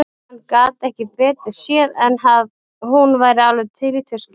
Hann gat ekki betur séð en að hún væri alveg til í tuskið.